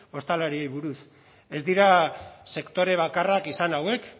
ostalariei buruz ez dira sektore bakarrak izan hauek